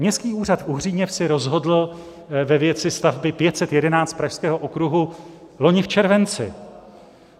Městský úřad v Uhříněvsi rozhodl ve věci stavby 511, pražského okruhu, loni v červenci.